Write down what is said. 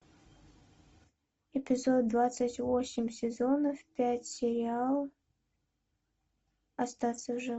эпизод двадцать восемь сезона пять сериал остаться в живых